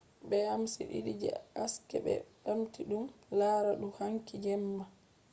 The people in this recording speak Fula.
beams didi je haske be bamti dum lara dou hanki jemma